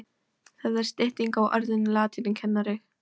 Það er stytting á orðinu latínukennari.